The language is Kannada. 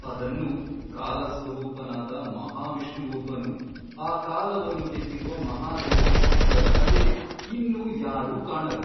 ಅದನ್ನು ಕಾಲಸ್ವರೂಪನಾದ ಮಹಾವಿಷ್ಣುವೊಬ್ಬನು ಆ ಕಾಲವನ್ನು ಗೆದ್ದಿರುವ ಮಹಾದೇವನು ಇಬ್ಬರಲ್ಲದೆ ಇನ್ನೂ ಯಾರೂ ಕಾಣರು.